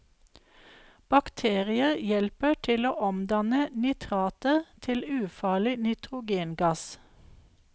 Bakterier hjelper til å omdanne nitrater til ufarlig nitrogengass.